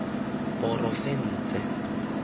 porofense